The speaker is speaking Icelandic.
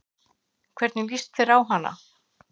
Hvernig lýst þér á hana?